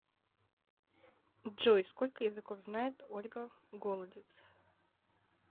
джой сколько языков знает ольга голодец